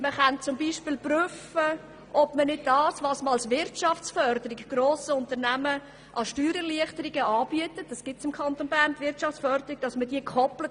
– Man könnte zum Beispiel prüfen, ob man nicht das was man als Wirtschaftsförderung grossen Unternehmungen an Steuererleichterungen anbietet, an Bedingungen koppelt.